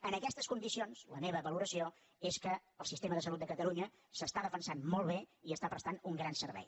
en aquestes condicions la meva valoració és que el sistema de salut de catalunya s’està defensant molt bé i està prestant un gran servei